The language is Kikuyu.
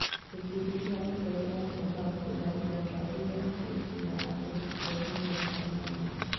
Gĩkundi gĩa itoi al-Shabab gũtharĩkĩra kambĩ ya njeshi ya akenya bũrũri wa Somalia